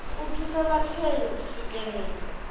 u thusa vhatheli u swikelela